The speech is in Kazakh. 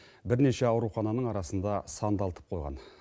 бірнеше аурухананың арасында сандалтып қойған